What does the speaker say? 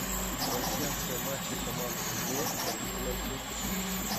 трансляция матча команд лестер и манчестер сити